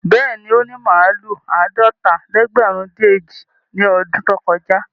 Bẹ́ẹ̀ni, ó ní màlúù àádọ́ta-lẹ́gbẹ̀rún-dín-èjì ní ọdún tó kọjá.